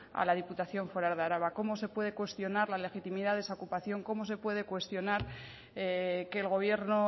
a la diputación foral de araba cómo se puede cuestionar la legitimidad de esa ocupación cómo se puede cuestionar que el gobierno